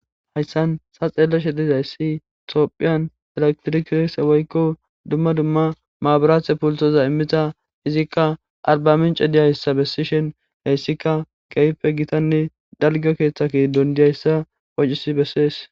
hayssan ta xeelleshe dizayssi tophiyan eletirikis woykko dumma dumma maaburate pultoza immita izikka arbamince diyayssa bessishen heyssikka keeype gitanne dalga keeththaki gidon diyayssa qoccisi bessees